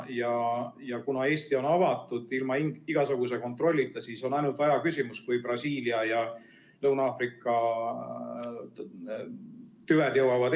Ja kuna Eesti on avatud ilma igasuguse kontrollita, siis on ainult aja küsimus, kui Brasiilia ja Lõuna-Aafrika tüved Eestisse jõuavad.